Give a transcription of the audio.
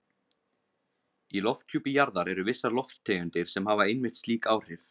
Í lofthjúpi jarðar eru vissar lofttegundir sem hafa einmitt slík áhrif.